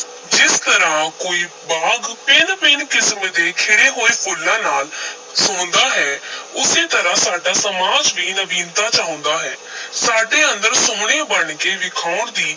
ਜਿਸ ਤਰ੍ਹਾਂ ਕੋਈ ਬਾਗ ਭਿੰਨ-ਭਿੰਨ ਕਿਸਮ ਦੇ ਖਿੜੇ ਹੋਏ ਫੁੱਲਾਂ ਨਾਲ ਸੋਹੰਦਾ ਹੈ ਉਸੇ ਤਰ੍ਹਾਂ ਸਾਡਾ ਸਮਾਜ ਵੀ ਨਵੀਨਤਾ ਚਾਹੁੰਦਾ ਹੈ ਸਾਡੇ ਅੰਦਰ ਸੁਹਣੇ ਬਣ ਕੇ ਵਿਖਾਉਣ ਦੀ